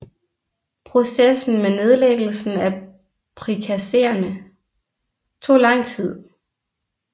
Processen med nedlæggelsen af prikazerne tog lang tid